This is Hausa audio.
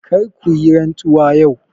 Kar ku yi rantsuwa yau!